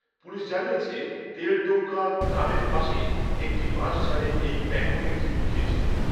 police জানিয়েছে তেলটোকা গ্রামের পাশে একটি বাঁশঝাড়ে এই প্যাঙ্গোলিনটি লুকিয়েছিল